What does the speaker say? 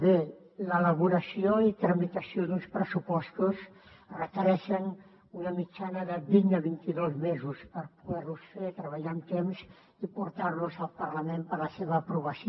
bé l’elaboració i tramitació d’uns pressupostos requereixen una mitjana de vint a vint i dos mesos per poder los fer treballar amb temps i portar los al parlament per a la seva aprovació